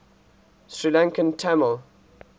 sri lankan tamil